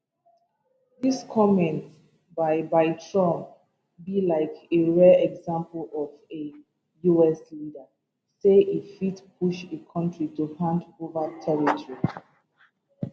dis comment by by trump be like a rare example of a us leader say e fit push a country to hand ova territory